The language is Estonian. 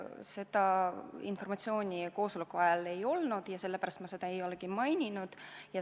Seda informatsiooni koosoleku ajal ei olnud ja sellepärast ma seda ei maininud.